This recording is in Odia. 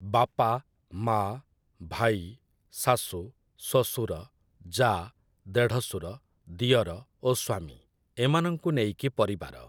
ବାପା, ମା', ଭାଇ, ଶାଶୁ, ଶ୍ୱଶୁର, ଯା', ଦେଢ଼ଶୁର, ଦିଅର ଓ ସ୍ୱାମୀ ଏମାନଙ୍କୁ ନେଇକି ପରିବାର ।